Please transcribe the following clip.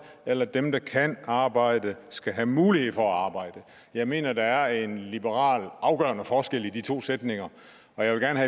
eller at dem der kan arbejde skal have mulighed for at arbejde jeg mener at der er en liberal afgørende forskel i de to sætninger og jeg vil gerne